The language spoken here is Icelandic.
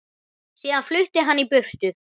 Síðan flutti hann í burtu.